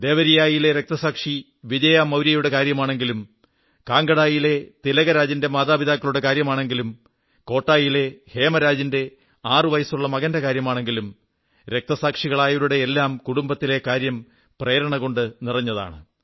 ദേവരിയായിലെ രക്തസാക്ഷി വിജയ മൌര്യയുടെ കാര്യമാണെങ്കിലും കാംഗഡായിലെ തിലകരാജിന്റെ മാതാപിതാക്കളുടെ കാര്യമാണെങ്കിലും കോട്ടായിലെ ഹേമരാജിന്റെ ആറു വയസ്സുളള മകന്റെ കാര്യമാണെങ്കിലും രക്തസാക്ഷികളായവരുടെയെല്ലാം കുടുംബത്തിലെ കാര്യം പ്രേരണകൊണ്ടു നിറഞ്ഞതാണ്